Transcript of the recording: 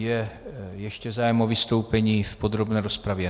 Je ještě zájem o vystoupení v podrobné rozpravě?